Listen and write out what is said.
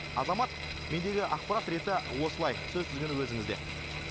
азамат мендегі ақпарат реті осылай сөз тізгіні өзіңізде